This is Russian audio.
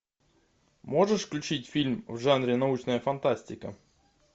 можешь включить фильм в жанре научная фантастика